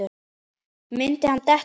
Myndi hann detta?